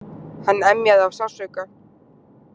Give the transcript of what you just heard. Hann emjaði af sársauka.